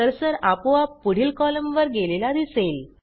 cursor आपोआप पुढील कॉलमवर गेलेला दिसेल